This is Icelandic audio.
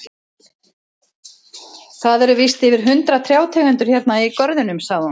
Það eru víst yfir hundrað trjátegundir hérna í görðunum, sagði hún.